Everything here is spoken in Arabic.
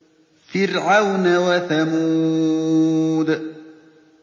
فِرْعَوْنَ وَثَمُودَ